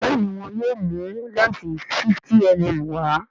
Béèni wón yóò mú lẹnsi 50mm wá.